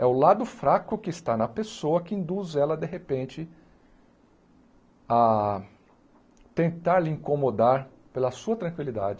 É o lado fraco que está na pessoa que induz ela, de repente, a tentar lhe incomodar pela sua tranquilidade.